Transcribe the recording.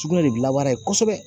Sugunɛ de dilanbara kosɛbɛ